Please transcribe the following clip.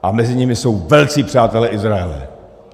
A mezi nimi jsou velcí přátelé Izraele.